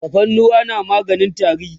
tafarnuwa na maganin tari